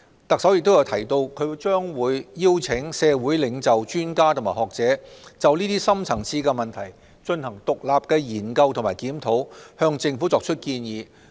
特首亦提到，她將會邀請社會領袖、專家及學者，就這些深層次問題，進行獨立的研究及檢討，向政府提出建議。